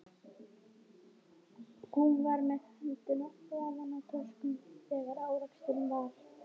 Hún var með höndina ofan í töskunni þegar áreksturinn varð.